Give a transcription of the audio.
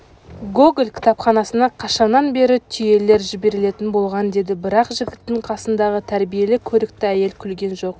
гоголь кітапханасына қашаннан бері түйелер жіберлетін болған деді бірақ жігіттің қасындағы тәрбиелі көрікті әйел күлген жоқ